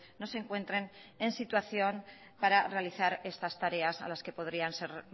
no se encuentren en situación para realizar estas tareas a las que podrían ser